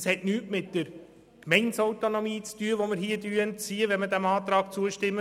Das hat nichts mit einem Entzug der Gemeindeautonomie zu tun.